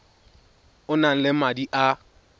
o nang le madi a